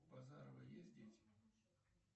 у базарова есть дети